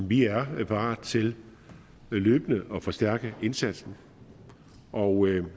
vi er parate til løbende at forstærke indsatsen og